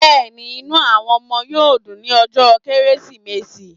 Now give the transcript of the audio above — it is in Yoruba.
Yes, the children will be happy on Christmas day